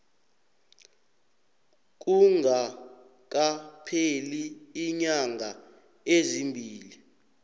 kungakapheli iinyanga ezimbili